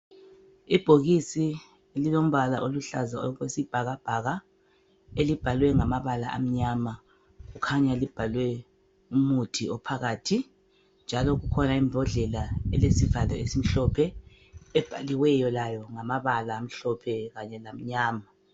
Ibhokisi lilombala oluhlaza okwesibhakabhaka, elibhalwe ngamabala amnyama. Kukhanya libhalwe umuthi ophakathi. Njalo kukhona imbodlela elesivalo esimhlophe, ebhaliweyo layo ngamabala amhlophe kanye lamnyama.